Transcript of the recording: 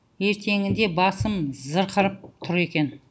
ертеңінде басым зырқырып тұр екен